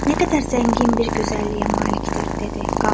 Nə qədər zəngin bir gözəlliyə malikdir, dedi.